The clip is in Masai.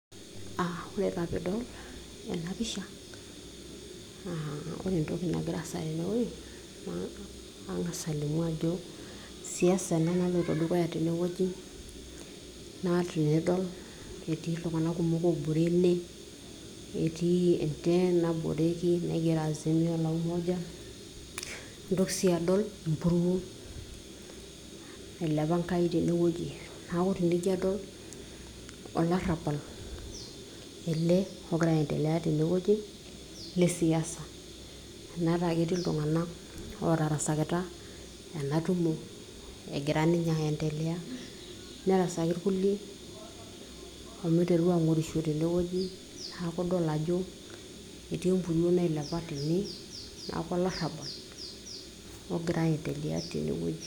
uh, ore taa piidol ena pisha naa ore entoki nagira aasa tenewueji naa ang'as alimu ajo siasa ena naloito dukuya tenewueji naa tinidol etii iltung'anak kumok obore ene etii en tent naboreki naigero azimio la umoja nintoki siiadol empuruo nailepa enkai tenewueji naku tenijo adol olarrabal ele ogira aendelea tenewueji lesiasa anaata aketii iltung'anak otaraskita ena tumo egira ninye aendelea nerasaki irkulie omiteru ang'orisho tenewueji naku idol ajo etii empuruo nailepa tene niaku olarrabal ogira aendelea tenewueji.